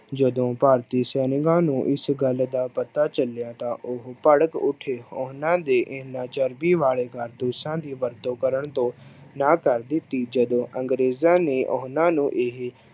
ਜਦੋਂ ਭਾਰਤੀ ਸੈਨਿਕਾਂ ਨੂੰ ਇਸ ਗੱਲ ਦਾ ਪਤਾ ਚੱਲਿਆ ਤਾਂ ਉਹ ਭੜਕ ਉੱਠੇ, ਉਹਨਾਂ ਦੇ ਇਹਨਾਂ ਚਰਬੀ ਵਾਲੇ ਕਾਰਤੂਸਾਂ ਦੀ ਵਰਤੋਂ ਕਰਨ ਤੋਂ ਨਾਂਹ ਕਰ ਦਿੱਤੀ, ਜਦੋਂ ਅੰਗਰੇਜ਼ਾਂ ਨੇ ਉਹਨਾਂ ਨੂੰ ਇਹ